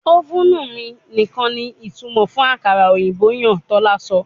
Ovenu mi nikan ni itumọ fun akara oyinbo yan, tola sọ